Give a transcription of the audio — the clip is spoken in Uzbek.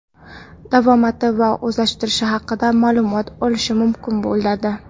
davomati va o‘zlashtirishi haqida ma’lumot olishi mumkin bo‘ladi.